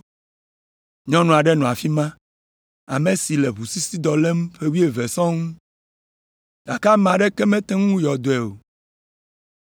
Nyɔnu aɖe nɔ afi ma, ame si le ʋusisidɔ lém ƒe wuieve sɔŋ, gake ame aɖeke mete ŋu yɔ dɔe o.